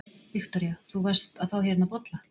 Viktoría: Þú varst að fá hérna bolla?